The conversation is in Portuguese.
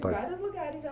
vários lugares já